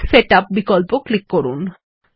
page setup বিকল্প click করুন